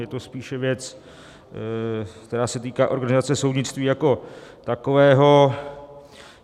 Je to spíše věc, která se týká organizace soudnictví jako takového.